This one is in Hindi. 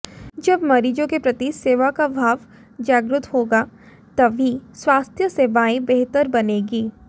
जब मरीजों के प्रति सेवा का भाव जागृत होगा तभी स्वास्थ्य सेवाएं बेहतर बनेंगी